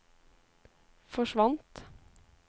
forsvant